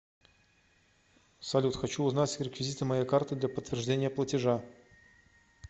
салют хочу узнать реквизиты моей карты для подтверждения платежа